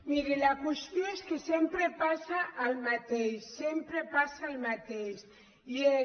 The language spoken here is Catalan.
miri la qüestió és que sempre passa el mateix sem·pre passa el mateix i és